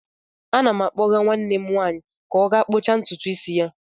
Ana m akpọga nwanne m nwanyị ka ọ gaa kpụcha ntutu isi ya.